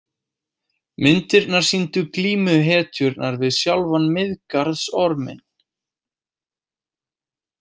Myndirnar sýndu glímu hetjunnar við sjálfan Miðgarðsorminn.